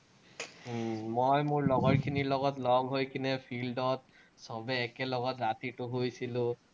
উম মই মোৰ লগৰখিনিৰ লগত লগ হৈ কেনে field ত চবেই একেলগত ৰাতিটো শুইছিলো।